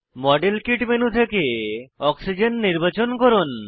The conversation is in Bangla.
মডেল কিট মেনু থেকে অক্সিজেন নির্বাচন করুন